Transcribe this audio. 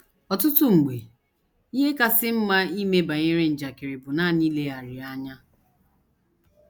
Ọtụtụ mgbe, ihe kasị mma ime banyere njakịrị bụ nanị ileghara ya anya.